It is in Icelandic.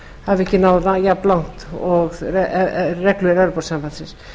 hafi ekki náð jafnlangt og reglur evrópusambandsins